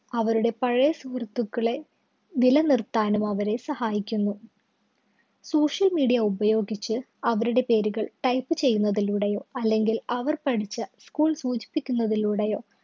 അവരുടെ പഴയ സുഹൃത്തുക്കളെ നിലനിര്‍ത്താനും അവരെ സഹായിക്കുന്നു. social media ഉപയോഗിച്ച് അവരുടെ പേരുകള്‍ type ചെയ്യുന്നതിലൂടെയോ അല്ലെങ്കില്‍ അവര്‍ പഠിച്ച school സൂചിപ്പിക്കുന്നതിലൂടെയോ